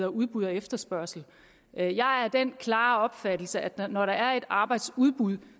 udbud og efterspørgsel jeg jeg er af den klare opfattelse at når der er et arbejdsudbud